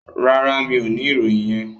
No, I don't have that information.